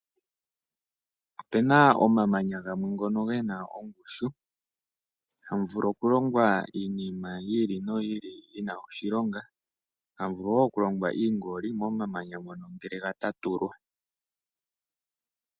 Opu na omamanya gamwe ngono gena ongushu na ohamu vulu okulongwa iinima yi ili no yi ili ,oha mu vulu woo oku adhika iingoli ngele ga tatulwa.